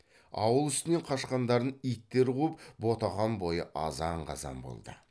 ауыл үстінен қашқандарын иттер қуып ботақан бойы азан қазан болды